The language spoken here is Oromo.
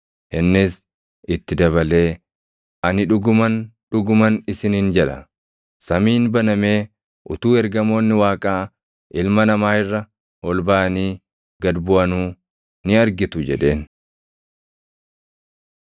Innis itti dabalee, “Ani dhuguman, dhuguman isiniin jedha; samiin banamee utuu ergamoonni Waaqaa Ilma Namaa irra ol baʼanii gad buʼanuu ni argitu” jedheen.